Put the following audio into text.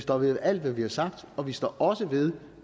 står ved alt hvad vi har sagt og vi står også ved